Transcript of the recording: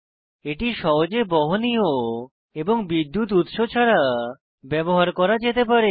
এটি সহজে বহনীয় এবং বিদ্যুৎ উৎস ছাড়া ব্যবহার করা যেতে পারে